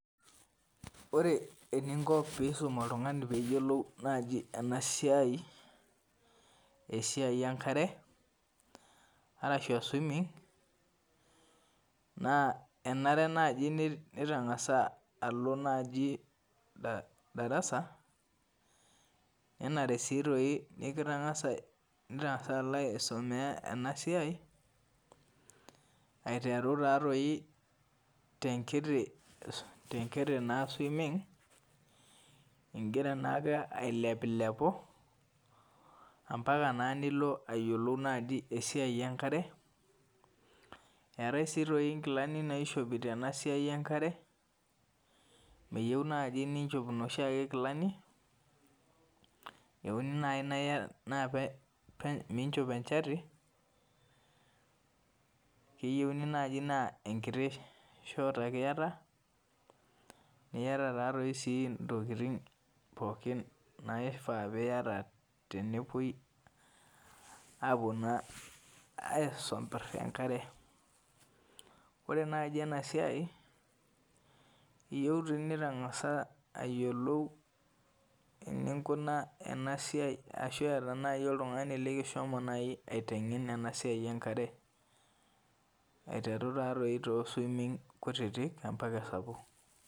Ore eninko pisum oltungani peyiolou enasiai esiai enkare ashu swimming enare nau nitangasa alo darasa nenare su nitangasa alo aisumia enasia aiteru tenkiti ingira ailepulepu ambaka nilo ayiolou esiai enkare eetae si nkilani naishopi meyieu nai ninchop noshiake kilani eyieuni nai miinchop enchati keyieuni nai na enkiti shot ake iayata niata na i ntokitin pookin nayieuni niata tenepuoi aisompir enkare ore nai enasiai iyeu nitangasa ayiolou einkuna enasiai enkare aiteru to swimming sapukin mbaka nkutik.